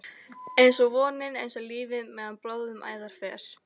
einsog vonin, einsog lífið- meðan blóð um æðar fer.